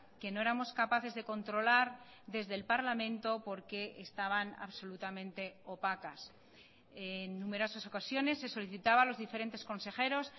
que no éramos capaces de controlar desde el parlamento porque estaban absolutamente opacas en numerosas ocasiones se solicitaba a los diferentes consejeros